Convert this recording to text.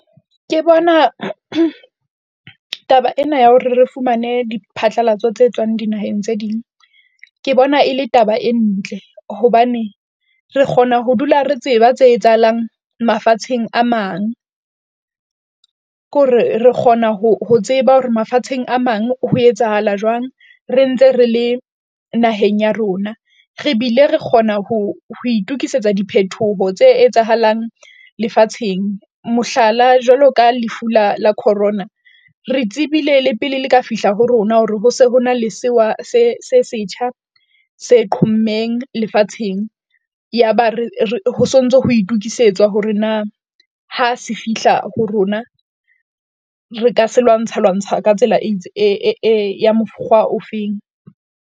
Ke bona taba ena ya hore re fumane diphatlalatso tse tswang dinaheng tse ding. Ke bona e le taba e ntle hobane re kgona ho dula re tseba tse etsahalang mafatsheng a mang, ke hore re kgona ho ho tseba hore mafatsheng a mang, ho etsahala jwang re ntse re le naheng ya rona. Re bile re kgona ho itukisetsa diphethoho tse etsahalang lefatsheng. Mohlala, jwalo ka lefu la la corona, re tsebile le pele le ka fihla ho rona hore ho se hona le sewa se se setjha se qhommeng lefatsheng, yaba re ho sontso ho itukisetsa hore na, ha se fihla ho rona. Re ka se lwantsha lwantsha ka tsela ya mokgwa ofeng.